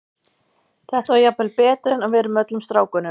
Þetta var jafnvel betra en að vera með öllum strákunum.